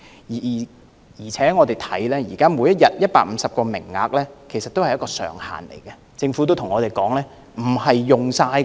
再者，現時每天150個名額是上限，政府也說道不會盡用的。